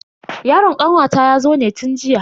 Yaron kanwata yazo ne tun jiya.